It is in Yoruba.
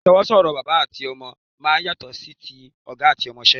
Ìsọwọ́ sọ̀rọ̀ bàbá àti ọmọ máa ń yàtọ̀ sí ti ọ̀gá àti ọmọṣẹ́